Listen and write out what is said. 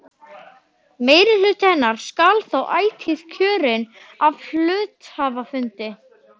Meirihluti hennar skal þó ætíð kjörinn af hluthafafundi.